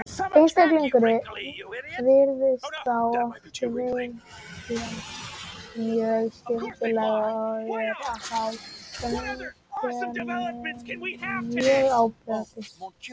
Einstaklingurinn virðist þá oft veikjast mjög skyndilega og eru þá einkennin mjög áberandi.